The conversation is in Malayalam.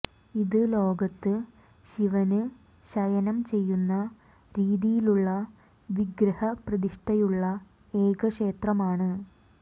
ഇത് ലോകത്ത് ശിവന് ശയനം ചെയ്യുന്ന രീതിയിലുള്ള വിഗ്രഹ പ്രതിഷ്ഠയുള്ള ഏക ക്ഷേത്രമാണ്